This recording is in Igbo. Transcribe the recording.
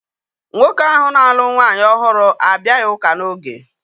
Nwoke ahu na-alụ nwaanyị ọhụrụ abịaghị ụka n'oge